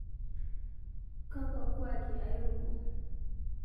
Kakua kuaaki airuko